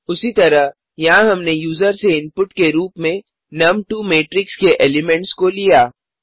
उसी तरह यहाँ हमने यूज़र से इनपुट के रूप में नुम2 मैट्रिक्स के एलिमेंट्स को लिया